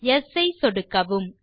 yes ஐ சொடுக்கவும்